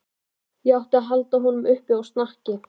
Og ég átti að halda honum uppi á snakki!